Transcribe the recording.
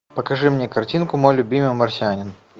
покажи мне картинку мой любимый марсианин